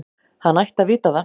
Hann ætti að vita það.